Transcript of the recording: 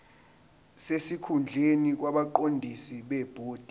sesikhundleni kwabaqondisi bebhodi